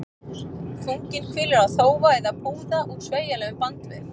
Þunginn hvílir á þófa eða púða úr sveigjanlegum bandvef.